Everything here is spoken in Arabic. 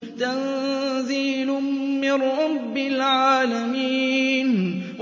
تَنزِيلٌ مِّن رَّبِّ الْعَالَمِينَ